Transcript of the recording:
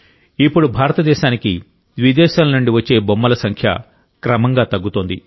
ఇప్పుడు భారతదేశానికి విదేశాల నుండి వచ్చే బొమ్మల సంఖ్య క్రమంగా తగ్గుతోంది